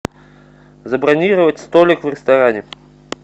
забронировать столик в ресторане